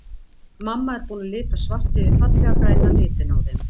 Mamma er búin að lita svart yfir fallega græna litinn á þeim.